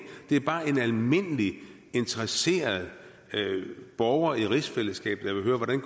det er bare en almindelig interesseret borger i rigsfællesskabet der vil høre hvordan